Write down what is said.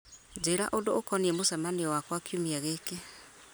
njĩra ũndũ ũkoniĩ mũcemanio wakwa kiumia gĩkĩ